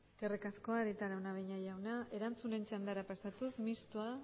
eskerrik asko arieta araunabeña jauna erantzunen txandara pasatuz mistoa